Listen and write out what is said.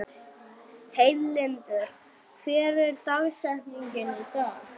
Heiðlindur, hver er dagsetningin í dag?